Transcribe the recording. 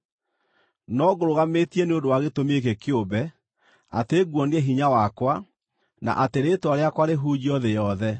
No ngũrũgamĩtie nĩ ũndũ wa gĩtũmi gĩkĩ kĩũmbe, atĩ nguonie hinya wakwa, na atĩ rĩĩtwa rĩakwa rĩhunjio thĩ yothe.